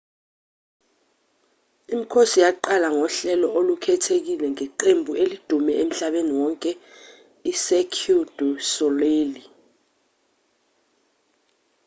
imikhosi yaqala ngohlelo olukhethekile ngeqembu elidume emhlabeni wonke icirque du soleil